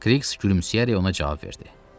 Kriqs gülümsəyərək ona cavab verdi.